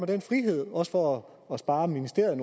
den frihed også for at spare ministeriet